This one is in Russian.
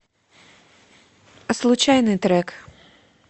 случайный трек